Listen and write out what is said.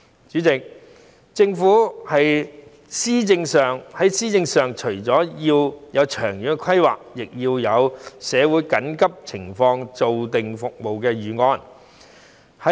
主席，政府在施政上除了要有長遠規劃外，亦要對社會緊急情況下的服務有所規劃。